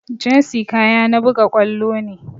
Jersey kaya na buga ƙwallo ne